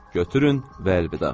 Götürün və əlvida.